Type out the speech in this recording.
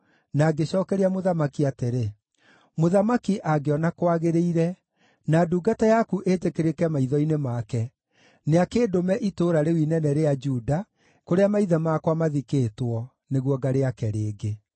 na ngĩcookeria mũthamaki atĩrĩ, “Mũthamaki, angĩona kwagĩrĩire, na ndungata yaku ĩtĩkĩrĩke maitho-inĩ make, nĩakĩndũme itũũra rĩu inene rĩa Juda, kũrĩa maithe makwa mathikĩtwo, nĩguo ngarĩake rĩngĩ.”